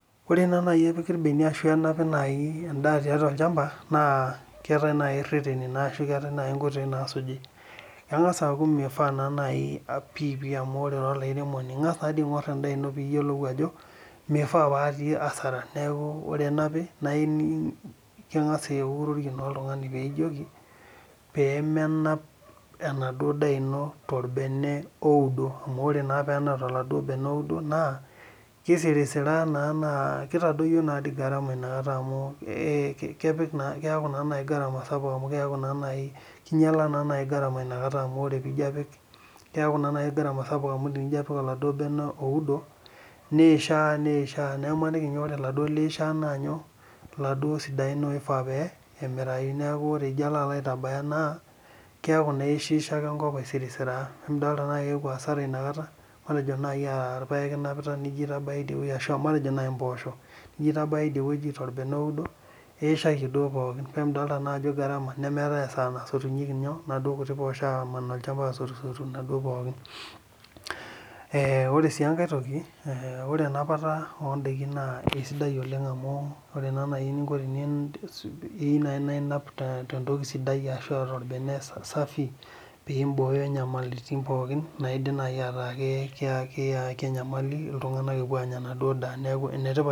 Ore naa naji epiki irbeniak ashu enapi endaa tiatua olchampa naa keetae naaji reteni ashu keetae naaji nkoitoi naasuji. Engas naaji aku nifaa pipi amu ore naaji ira olairemoni ingas aingor endaa ino pee iyiolou ajo meifaa pe etii asara. Neeku ore pee enapi naa ining ,engas aningo oltungani pee menap anduo daa ino torbene oudo. Amu ore naa pee enap toladuo bene outdo naa kisirisiraa naa kitadoyio naadi inakata garama amu keeku naa garama sapuk inakata amu kinyala naa naaji garama ,keeku sapuk amu tinijo apik oladuo bene outdo nishaa ,neeku maniki naa ore laduo liishaa naa laduo sidain omirau neeku elelek ijo alo aitabaya naa keeku naa ishiishaka enkop aisirisiraa .Emidol naa ajo keeku asara inakata. Matejo mpoosho inapita ,nijo aitabaya idie torbene oudo ,iishayie duok pookin ,ebidol naa ajo garama nemeeta esaa nasotunyeki naduo kuti poosho aman olchampa asotu naduo pookin. Ore siie enkae toki, ore enapata ondaiki naa kisidai oleng amu, eyieu naaa naji naa inap tentoki sidai ashu torbene safi pee imbooyo nyamalitin pookin naidim naaji ataa keyaki iltunganak enyamali epoitoi anya enaduo daa.